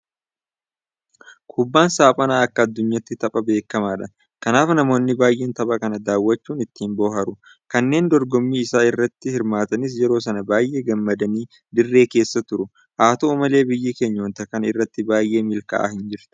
Kubbaan saaphanaa akka addunyaatti tapha beekamaadha. Kanaaf namoonni baay'een tapha kana daawwachuun ittiin bohaaru. Kanneen dogommii isaa irratti hirmaatanis yeroo sana baay'ee gammadanii dirree keessa turu. Haa ta'u malee biyyi keenya waanta kana irratti baay'ee milkaa'aa hin jirtu.